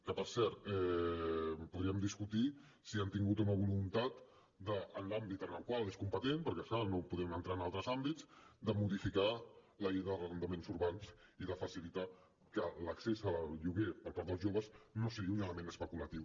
que per cert podríem discutir si han tingut o no voluntat en l’àmbit en el qual és competent perquè és clar no podem entrar en altres àmbits de modificar la llei d’arrendaments urbans i de facilitar que l’accés al lloguer per part dels joves no sigui un element especulatiu